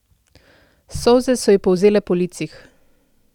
Solze so ji polzele po licih.